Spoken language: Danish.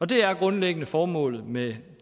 det er grundlæggende formålet med